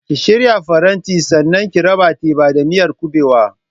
Ki shirya farantin sannan ki raba teba da miyar kuɓewa!